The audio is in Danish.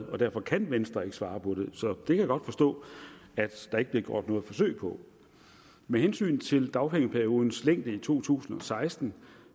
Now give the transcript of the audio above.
og derfor kan venstre ikke svare på det så det kan jeg godt forstå at der ikke bliver gjort noget forsøg på med hensyn til dagpengeperiodens længde i to tusind og seksten